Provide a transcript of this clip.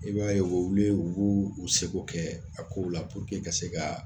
I b'a ye u bɛ wuli u b'u seko kɛ a kow la ka se ka